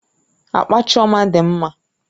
Akpa Chioma dị mma